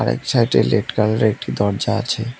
এক সাইডে লেড কালারের একটি দরজা আছে।